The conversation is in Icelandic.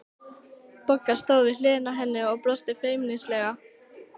Bogga stóð við hlið hennar og brosti feimnislega.